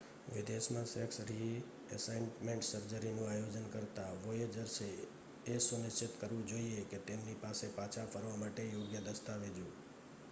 વિદેશમાં sex reassignment સર્જરીનું આયોજન કરતા વોયેજર્સે એ સુનિશ્ચિત કરવું જોઈએ કે તેમની પાસે પાછા ફરવા માટે યોગ્ય દસ્તાવેજો